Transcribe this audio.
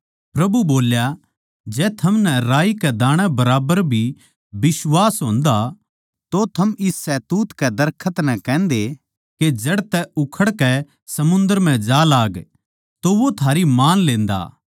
प्रभु बोल्या जै थमनै राई कै दाणै बराबर भी बिश्वास होन्दा तो थम इस शहतूत कै दरखत नै कहन्दे के जड़ तै उखड़कै समुन्दर म्ह जा लाग तो वो थारी मान लेन्दा